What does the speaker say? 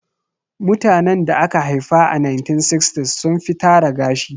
Mutanen da aka haifa a 1960s sun fi tara gashi